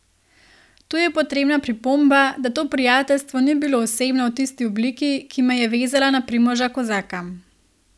Tu je potrebna pripomba, da to prijateljstvo ni bilo osebno v tisti obliki, ki me je vezala na Primoža Kozaka.